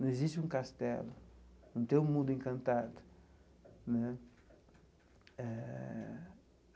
Não existe um castelo, não tem um mundo encantado né eh.